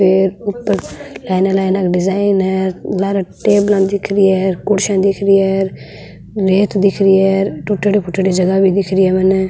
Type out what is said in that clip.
लाइना लाइना का डिजाइन है लारे टेबला दिख री है कुर्सियां दिख री है रेत दिख री है टूट्योड़ी फूट्योड़ी जगह भी दिख री है मने।